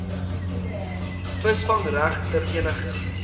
visvangreg ter eniger